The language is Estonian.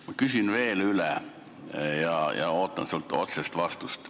Ma küsin veel üle ja ootan sult otsest vastust.